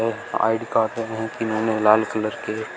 ID card लाल colour के।